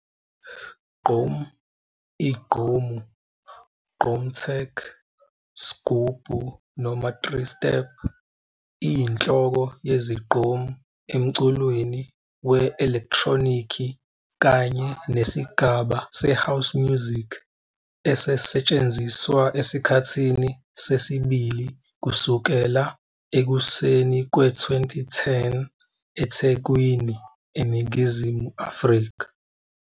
Gqom, igqomu, gqom tech, sghubu noma 3-Step, iyinhloko yezigqom emculweni we-elektronikhi kanye nesigaba se-house music esetshenziswa esikhathini sesibili kusukela ekuseni kwe-2010 eThekwini, eNingizimu Afrika.